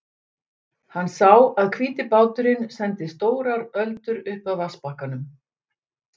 Hann sá að hvíti báturinn sendi stórar öldur upp að vatnsbakkanum.